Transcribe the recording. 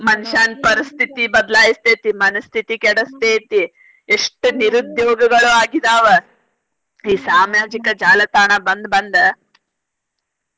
ಮನಷ್ಯಾನ್ ಪರಿಸ್ಥಿತಿ ಬದ್ಲಾಯಸ್ತೇತಿ ಮನಸ್ಥಿತಿ ಕೆಡಸ್ತೇತಿ ಎಷ್ಟ್ ನೀರುದ್ಯೋಗಗಳು ಆಗಿದಾವ ಈ ಸಾಮಾಜಿಕ ಜಾಲತಾಣ ಬಂದ್ ಬಂದ್ .